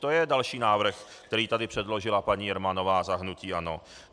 To je další návrh, který tady předložila paní Jermanová za hnutí ANO.